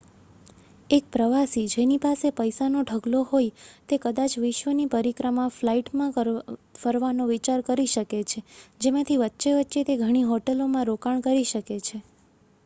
એક પ્રવાસી જેની પાસે પૈસાનો ઢગલો હોય તે કદાચ વિશ્વની પરિક્રમા ફ્લાઇટમાં ફરવાનો વિચાર કરી શકે છે જેમાંથી વચ્ચે વચ્ચે તે ઘણી હોટેલોમાં રોકાણ કરી શકે છે